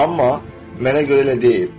Amma mənə görə elə deyil.